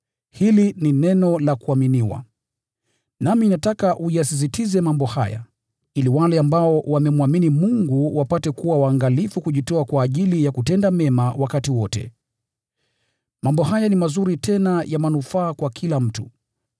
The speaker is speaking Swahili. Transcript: Hili ni neno la kuaminiwa. Nami nataka uyasisitize mambo haya, ili wale ambao wamemwamini Mungu wapate kuwa waangalifu kujitoa kwa ajili ya kutenda mema wakati wote. Mambo haya ni mazuri tena ya manufaa kwa kila mtu.